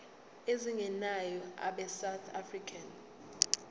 ezingenayo abesouth african